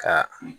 Ka